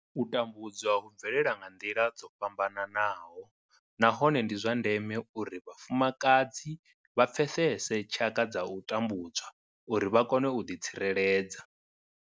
U tambudzwa hu bvelela nga nḓila dzo fhambanaho nahone ndi zwa ndeme uri vhafumakadzi vha pfesese tshaka dza u tambudzwa uri vha kone u ḓitsireledza.